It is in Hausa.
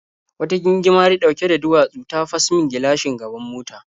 Wata gingimari ɗauke da duwatsu ta fas min gilashin gaban mota.